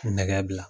Nɛgɛ bila